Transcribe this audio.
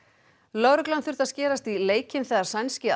lögreglan þurfti að skerast í leikinn þegar sænski